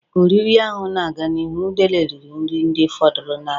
Ka oriri ahụ na-aga n'ihu, udele riri nri ndị fọdụrụ n'ala.